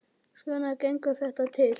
Svona gengur þetta til.